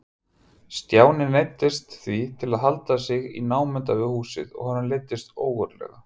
Stjáni neyddist því til að halda sig í námunda við húsið og honum leiddist ógurlega.